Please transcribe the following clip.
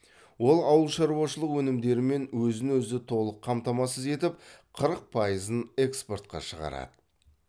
ол ауыл шаруашылық өнімдерімен өзін өзі толық қамтамасыз етіп қырық пайызын экспортқа шығарады